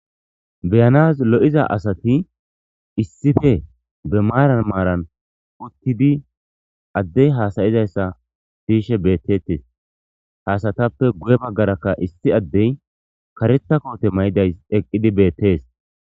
Beyans liyiza assati issipe be marani marani utidi adeyi hasayizayisa siyishe betetesi ha assatape guye bagara issi adeyi karetha kote mayidayisi eqidi betwsi